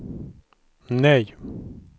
nej